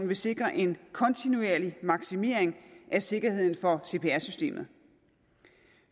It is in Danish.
vil sikre en kontinuerlig maksimering af sikkerheden for cpr systemet